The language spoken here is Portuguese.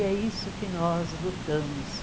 E é isso que nós lutamos.